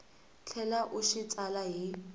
tlhela u xi tsala hi